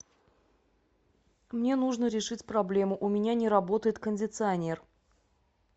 мне нужно решить проблему у меня не работает кондиционер